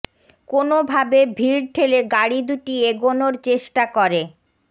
কোনো ভাবে ভীড় ঠেলে গাড়ি দুটি এগোনোর চেষ্টা করে